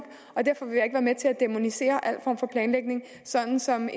og med til at dæmonisere al form for planlægning sådan som